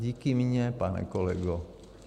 Díky mně, pane kolego.